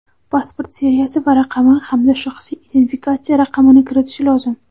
pasport seriyasi va raqami hamda shaxsiy identifikatsiya raqamini kiritishi lozim.